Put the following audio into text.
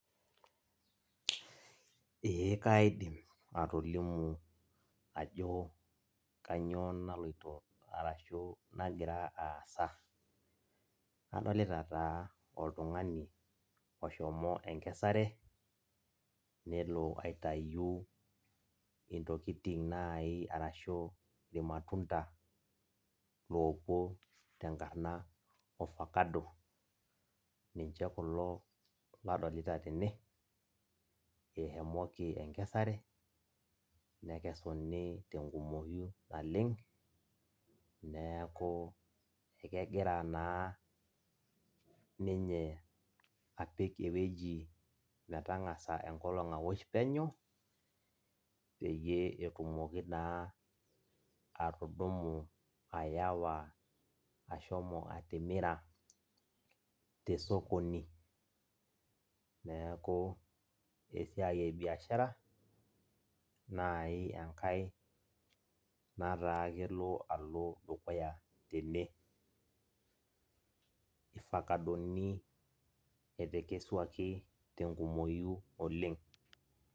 Ee kaidim atolimu ajo kanyioo naloito arashu kanyioo nagira aasa. Adolita taa oltung'ani oshomo enkesare, nelo aitayu intokiting nai arashu irmatunda, lopuo tenkarna ofakado, ninche kulo ladolita tene, eshomoki enkesare, nekesuni tenkumoyu naleng, neeku ekegira naa ninye apik ewueji metang'asa enkolong awosh penyo, peyie etumoki naa atudumu ayawa ashomo atimira tesokoni. Neeku esiai ebiashara, nai enkae nataa kelo alo dukuya tene. Ifakadoni etekesuaki tenkumoyu oleng'.